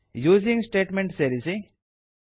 using statement ಸೇರಿಸಿ